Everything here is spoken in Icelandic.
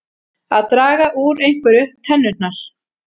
Að draga úr einhverju tennurnar